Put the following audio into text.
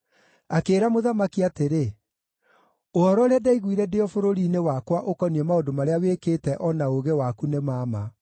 Akĩĩra mũthamaki atĩrĩ, “Ũhoro ũrĩa ndaiguire ndĩ o bũrũri-inĩ wakwa ũkoniĩ maũndũ marĩa wĩkĩte o na ũũgĩ waku nĩ ma ma.